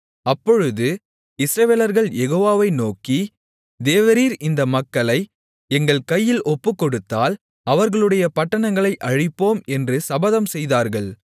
அப்பொழுது இஸ்ரவேலர்கள் யெகோவாவை நோக்கி தேவரீர் இந்த மக்களை எங்கள் கையில் ஒப்புக்கொடுத்தால் அவர்களுடைய பட்டணங்களைச் அழிப்போம் என்று சபதம் செய்தார்கள்